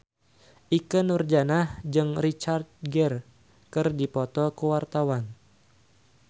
Ikke Nurjanah jeung Richard Gere keur dipoto ku wartawan